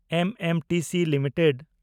MMTC limited